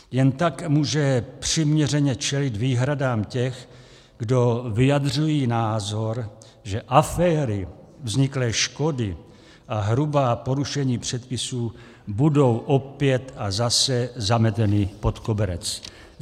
Jen tak může přiměřeně čelit výhradám těch, kdo vyjadřují názor, že aféry, vzniklé škody a hrubá porušení předpisů budou opět a zase zameteny pod koberec.